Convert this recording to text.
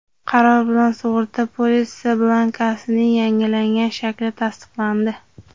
qaror bilan sug‘urta polisi blankasining yangilangan shakli tasdiqlandi.